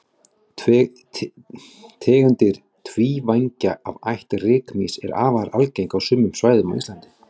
Tegundir tvívængja af ætt rykmýs eru afar algengar á sumum svæðum á Íslandi.